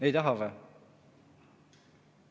Ei taha või?